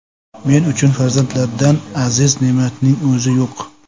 Men uchun farzandlardan aziz ne’matning o‘zi yo‘q.